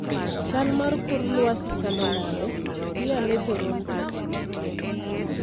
chal mar kor lwasi chalo nade? bi ane Toronto